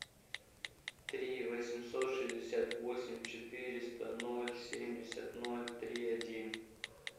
три восемьсот шестьдесят восемь четыреста ноль семьдесят ноль три один